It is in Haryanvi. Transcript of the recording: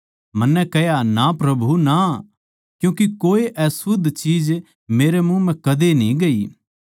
मन्नै कह्या ना प्रभु ना क्यूँके कोई अशुध्द चीज मेरै मुँह म्ह कदे न्ही गई